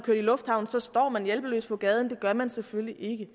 lufthavnen og så står man hjælpeløs på gaden det gør man selvfølgelig ikke